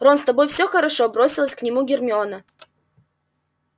рон с тобой все хорошо бросилась к нему гермиона